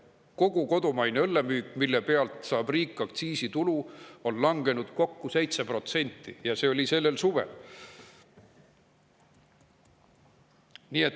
Kogu kodumaine õllemüük, mille pealt riik saab aktsiisitulu, on langenud kokku 7%, ja see oli sellel suvel.